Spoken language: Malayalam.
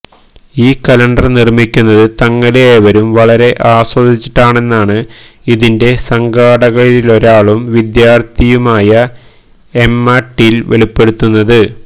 ഈ കലണ്ടര് നിര്മിക്കുന്നത് തങ്ങള് ഏവരും വളരെ ആസ്വദിച്ചിട്ടാണെന്നാണ് ഇതിന്റെ സംഘാടകരിലൊരാളും വിദ്യാര്ത്ഥിയുമായ എമ്മ ടീല് വെളിപ്പെടുത്തുന്നത്